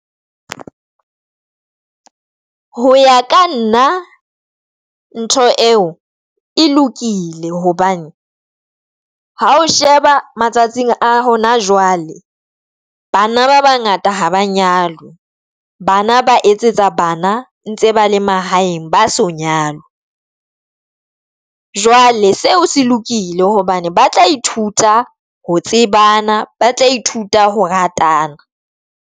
Ho ya ka nna ntho eo e lokile hobane ha o sheba matsatsing a hona jwale bana ba bangata ha ba nyalwe bana ba etsetsa bana ntse ba le mahaeng ba so nyalwa. Jwale seo se lokile hobane ba tla ithuta ho tsebana ba tla ithuta ho ratana.